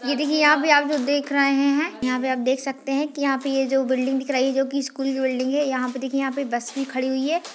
ये देखिये यहाँ पर आप जो देख रहे हैं यहाँ पर आप देख सकते हैं कि यहाँ पर जो बिल्डिंग दिख रही है जो कि स्कूल की बिल्डिंग है यहाँ पे देखिये ये बस भी खड़ी हुई है।